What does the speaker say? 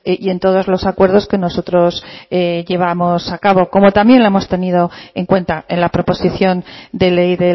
y en todos los acuerdos que nosotros llevamos a cabo como también lo hemos tenido en cuenta en la proposición de ley